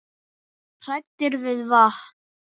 Hræddir við vatn!